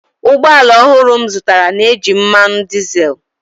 ụgbọ ala ọhụrụ m zụtara na-eji mmanụ dizel